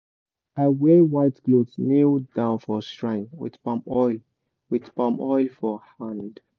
i wear white cloth kneel down for shrine with palm oil with palm oil for my hand.